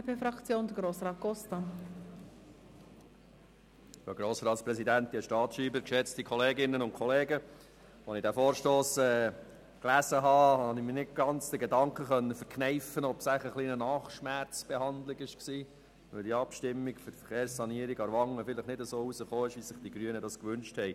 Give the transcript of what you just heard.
Als Erstes eine Klammerbemerkung: Als ich den Vorstoss las, konnte ich mir die Überlegung nicht ganz verkneifen, ob dieser wohl eine «Nachschmerz-Behandlung» sei, weil die Abstimmung zur Verkehrssanierung Aarwangen nicht so herausgekommen ist, wie sich die Grünen dies gewünscht haben.